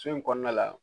So in kɔnɔna la